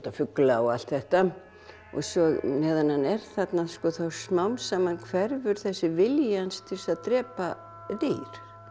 fugla og allt þetta og svo meðan hann er þarna þá smám saman hverfur þessi vilji hans til þess að drepa dýr